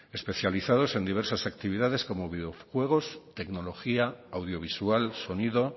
especializados en diversas actividades como videojuegos tecnología audiovisual sonido